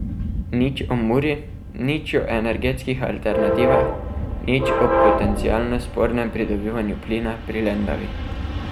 Nič o Muri, nič o energetskih alternativah, nič o potencialno spornem pridobivanju plina pri Lendavi...